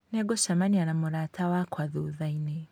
Nĩngũcemania na mũrata wakwa thutha-inĩ